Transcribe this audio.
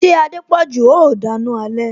Ṣé Adepoju o dana alẹ